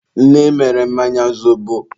nne mere mmanya zobo.